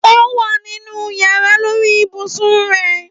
Ówà nínú yàrá, lórí ibùsùn rẹ.